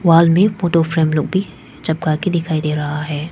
Wall में photo frame लोग भी चपका के दिखाई दे रहा है।